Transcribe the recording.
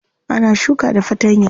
Ana shuka da fatanya.